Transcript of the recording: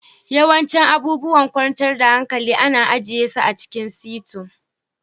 Yawancin abubuwan kwantar da hankali ana ajiye su a cikin sito